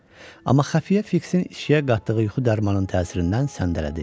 Amma Xəfiyyə Fiksin içkiyə qatdığı yuxu dərmanının təsirindən səndələdi.